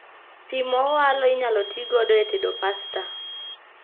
Pii mowalo inyalo tii godo e tedo pasta